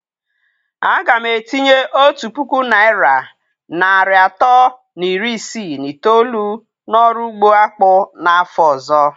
A ga m etinye otu puku naịra narị atọ na iri isii na itoolu n'ọrụ ugbo akpụ n'afọ ọzọ.